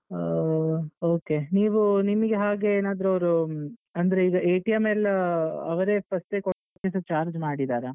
ಆ okay ನೀವು ನಿಮ್ಗೆ ಹಾಗೆಯೇನಾದ್ರು ಅವ್ರು ಹ್ಮ್ ಅಂದ್ರೆ ಈಗ ಎಲ್ಲಾ ಅವರೇ first ಯೇ ಕೊಟ್ಟಿದ್ದು charge ಮಾಡಿದ್ದಾರಾ?